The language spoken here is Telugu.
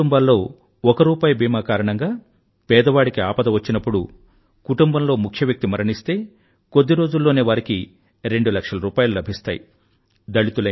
చాలా కుటుంబాల్లో ఒక రూపాయి బీమా కారణంగా పేదవాడికి ఆపద వచ్చినప్పుడు కుటుంబంలో ముఖ్యవ్యక్తి మరణిస్తే కొద్ది రోజుల్లోనే వారికి రెండు లక్షల రూపాయిలు లభిస్తాయి